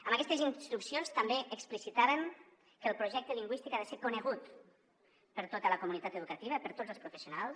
amb aquestes instruccions també explicitàvem que el projecte lingüístic ha de ser conegut per tota la comunitat educativa per tots els professionals